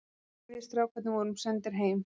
Við strákarnir vorum sendir heim.